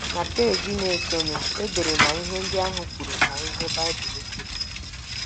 Na peeji na - esonụ, e dere ma ihe ndị ahụ kwuru ma ihe Baịbụl kwuru.